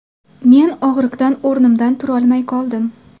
Men og‘riqdan o‘rnimdan turolmay qoldim.